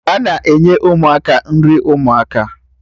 Ana enye Ụmụaka nri ụmụaka